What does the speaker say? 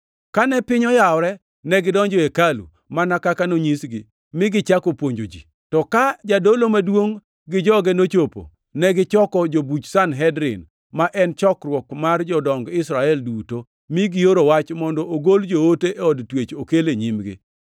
Kane piny oyawore, negidonjo e hekalu mana kaka nonyisgi, mi gichako puonjo ji. To ka jadolo maduongʼ gi joge nochopo, negichoko jobuch Sanhedrin, ma en chokruok mar jodong Israel duto, mi gioro wach mondo ogol joote e od twech okel e nyimgi.